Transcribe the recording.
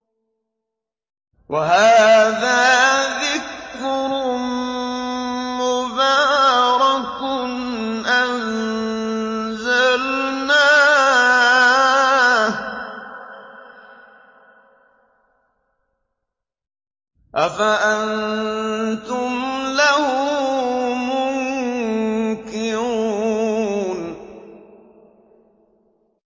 وَهَٰذَا ذِكْرٌ مُّبَارَكٌ أَنزَلْنَاهُ ۚ أَفَأَنتُمْ لَهُ مُنكِرُونَ